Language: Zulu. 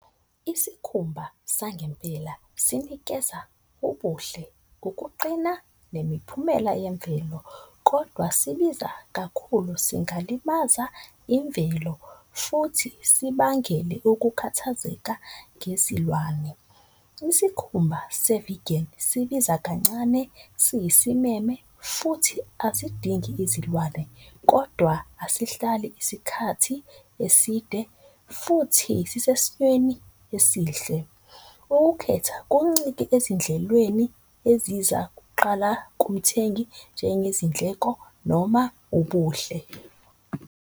Isikhumba sangempela sinikeza ubuhle, ukuqina, nemiphumela yemvelo. Kodwa sibiza kakhulu singalimaza imvelo futhi sibangele ukukhathazeka ngezilwane. Isikhumba se-vegan sibiza kancane, siyisimeme futhi asidingi izilwane, kodwa asihlali isikhathi eside futhi sisesimweni esihle. Ukukhetha kuncike ezindlelweni eziza kuqala kumthengi njengezindleko noma ubuhle.